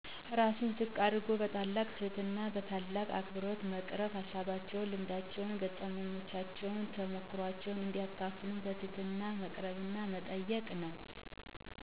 ራስን ዝቅ አድርጎ በታላቅ ትህትና በታላቅ አክብሮ በመቅረብ ሀሳባቸውን፣ ልምዳቸውን፣ ገጠመኛቸውን፣ ተሞክሯቸውን እንዲያካፍሉን በትህትና መቅረብና መጠየቅ ነው።